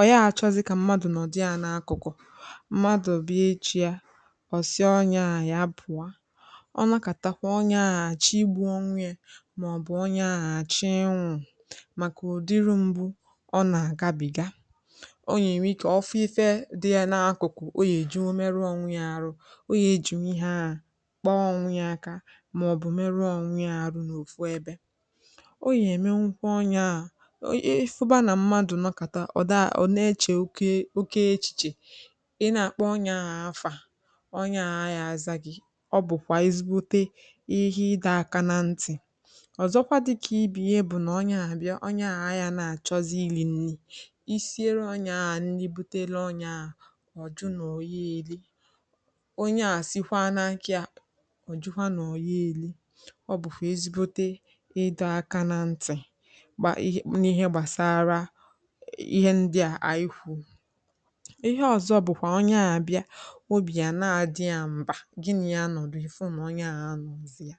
ọ̀ yaa chọzì kà mmadù nọ̀dị yā n’akụ̀kụ̀ mmadù bịa echī ya ọ̀ sị ọnyẹ ahụ̀ ya pụ̀ọ ọ nọkàtakwa ọnyẹ ahụ̀ àchọ igbū onwe yā mà ọ̀ bụ̀ onye ahụ̀ àchọ ịnwụ̄ màkà udịrị mgbū ọ nà àgabìga ọ yà ẹnwẹ ikē ọ fụ ifẹ dị yā n’akụ̀kụ̀ o yà èjinwu merụọ onwe ya arụ o yà èjinwu ihe ahụ̀ kpa ọnwẹ ya aka mà ọ̀ bụ̀ mẹrụọ onwe ya arụ n’òfu ẹbẹ̄ o yà èmenwukwa onye ahụ̀ ị fụba nà mmadù nọkàta ọ dà..ọ na ẹchẹ̀ oke echìchè ị nà àkpọ onye ahụ̀ afà ọnyẹ ahụ̀ a yaa aza gị ọ bụ̀kwà ezigbote ihe ịdọ aka nā ntị̀ ọzọkwa dị̄kà ibe ya bụ̀ nà ọnyẹ ahụ̀ bịa ọnyẹ ahụ̀ a yānà chọzị ịrị̄ nrị isiere onye ahụ̀ nrị butere onye ahụ̀ jụ nà ọ̀ gha eri onye ahụ̀ sikwa n’akā ya ọ̀ jụkwa nà ọ̀ gha eri ọ bụ̀kwà ezigbote ịdọ aka nā ntị̀ gbà n’ihe gbàsara ihẹ ndịà ànyị kwùrù ihẹ ọ̀zọ bụ̀kwà ọnyẹ ahụ̀ bịa obì à naghị àdị ya mmā gị nà ya nọ̀ ị̀fụ nà ọnyẹ ahụ̀